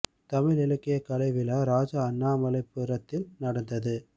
தமிழ் இலக்கிய கலை விழா ராஜா அண்ணாமலை புரத்தில் நடந்தது